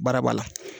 Baara b'a la